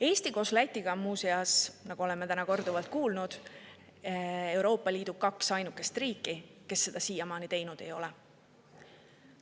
Eesti koos Lätiga on muuseas, nagu oleme täna korduvalt kuulnud, Euroopa Liidu kaks ainukest riiki, kes seda siiamaani teinud ei ole.